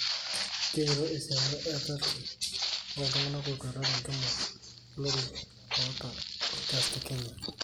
Kegiro esiana e 30 oltunganak otwata tenkima olori lota orgas tekenya.